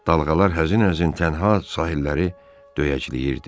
Dalğalar həzin-həzin tənha sahilləri döyəcləyirdi.